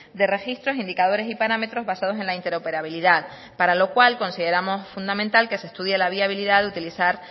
de registros indicadores y parámetros basados en la interoperabilidad para lo cual consideramos fundamental que se estudie la viabilidad de utilizar